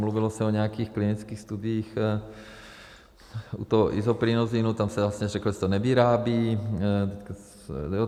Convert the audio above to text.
Mluvilo se o nějakých klinických studiích u toho Isoprinosinu, tam se vlastně řeklo, že se to nevyrábí.